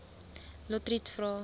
lotriet vra